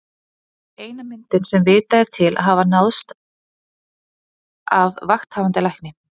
Þetta er eina myndin sem vitað er til að hafa náðst af Vakthafandi Lækni.